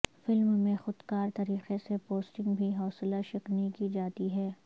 film میں خود کار طریقے سے پوسٹنگ بھی حوصلہ شکنی کی جاتی ہے